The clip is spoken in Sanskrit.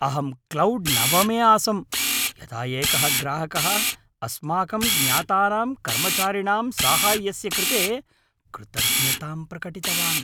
अहं क्लौड् नवमे आसम् यदा एकः ग्राहकः अस्माकं ज्ञातानां कर्मचारिणां साहाय्यस्य कृते कृतज्ञतां प्रकटितवान्।